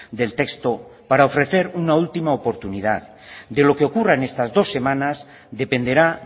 del texto para ofrecer una última oportunidad de lo que ocurra en estas dos semanas dependerá